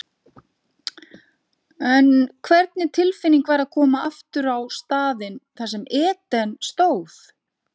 En hvernig tilfinning var að koma aftur á staðinn þar sem Eden stóð?